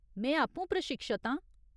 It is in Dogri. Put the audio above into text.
में आपूं प्रशिक्षत आं।